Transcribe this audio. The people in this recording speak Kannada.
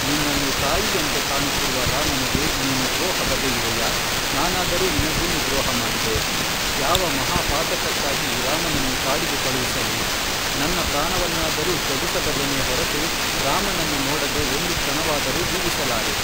ನಿನ್ನನ್ನು ತಾಯಿಯಂತೆ ಕಾಣುತ್ತಿರುವ ರಾಮನಿಗೆ ನೀನು ದ್ರೋಹ ಬಗೆಯುವೆಯಾ ನಾನಾದರೂ ನಿನಗೇನು ದ್ರೋಹಮಾಡಿದೆ, ಯಾವ ಮಹಾ ಪಾತಕಕ್ಕಾಗಿ ರಾಮನನ್ನು ಕಾಡಿಗೆ ಕಳುಹಿಸಲಿ, ನನ್ನ ಪ್ರಾಣವನ್ನಾದರೂ ತ್ಯಜಿಸಬಲ್ಲೆನೇ ಹೊರತು ರಾಮನನ್ನು ನೋಡದೆ ಒಂದು ಕ್ಷಣವಾದರೂ ಜೀವಿಸಲಾರೆ